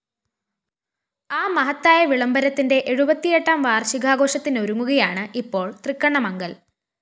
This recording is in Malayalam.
ആ മഹത്തായ വിളംബരത്തിന്റെ എഴുപത്തിയെട്ടാം വാര്‍ഷികാഘോഷത്തിനൊരുങ്ങുകയാണ് ഇപ്പോള്‍ തൃക്കണ്ണമംഗല്‍